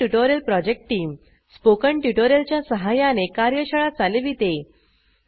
spoken tutorial project team spoken tutorial च्या सहाय्याने कार्यशाळा चालविते